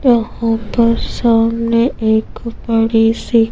यहाँ पर सामने एक बड़ी सी--